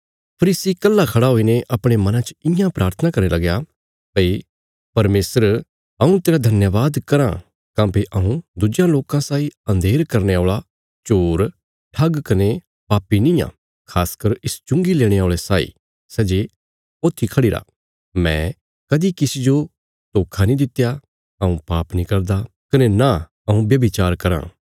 फरीसी कल्हा खड़ा हुईने अपणे मना च इयां प्राथना करने लगया भई परमेशर हऊँ तेरा धन्यवाद कराँ काँह्भई हऊँ दुज्जेयां लोकां साई अन्धेर करने औल़ा चोर ठग कने पापी निआं खास कर इस चुंगी लेणे औल़े साई सै जे ऊत्थी खढ़िरा मैं कदीं किसी जो धोखा नीं दित्या हऊँ पाप नीं करदा कने नां हऊँ ब्याभिचार कराँ